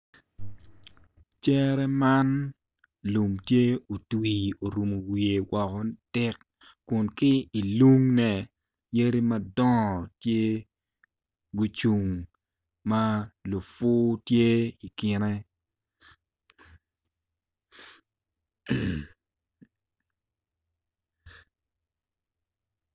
Cere man lum tye otwi orumu wiye woko ni tik kun ki ilungne yadi madongo tye gucung ma lufu tye i kinne